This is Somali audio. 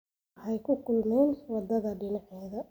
Waxay ku kulmeen wadada dhinaceeda